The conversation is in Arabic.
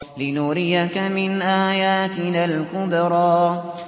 لِنُرِيَكَ مِنْ آيَاتِنَا الْكُبْرَى